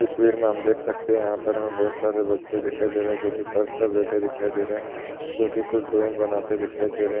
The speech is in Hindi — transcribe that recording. तस्वीर हम देख सकते हैं। यहाँ पर बहुत सारे बच्चे दिखाई दे रहे हैं जोकि फर्श पे बैठे दिखाई दे रहे हैं जोकि कुछ ड्राइंग बनाते दिखाई दे रहे --